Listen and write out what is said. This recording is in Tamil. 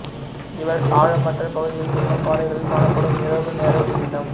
இவை ஆழமற்ற பகுதிகளில் உள்ள பாறைகளில் காணப்படும் இரவு நேர உயிரினம்